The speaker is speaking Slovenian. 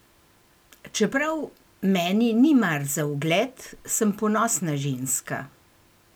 Čeprav meni ni mar za ugled, sem ponosna ženska.